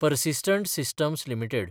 persistent systems limited